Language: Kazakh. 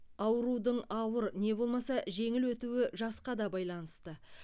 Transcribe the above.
аурудың ауыр не болмаса жеңіл өтуі жасқа да байланысты